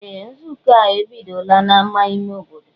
Ee! Nzukọ a ebidola n'ámá ime obodo.